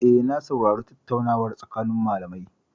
Eh, na saurari tattaunawar tsakanin malamai.